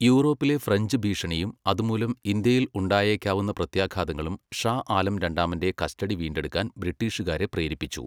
യൂറോപ്പിലെ ഫ്രഞ്ച് ഭീഷണിയും അതുമൂലം ഇന്ത്യയിൽ ഉണ്ടായേക്കാവുന്ന പ്രത്യാഘാതങ്ങളും ഷാ ആലം രണ്ടാമന്റെ കസ്റ്റഡി വീണ്ടെടുക്കാൻ ബ്രിട്ടീഷുകാരെ പ്രേരിപ്പിച്ചു.